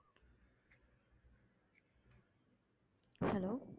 hello